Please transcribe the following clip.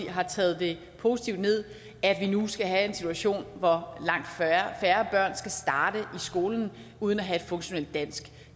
har taget det positivt ned at vi nu skal have en situation hvor langt færre børn skal starte i skolen uden at have et funktionelt dansk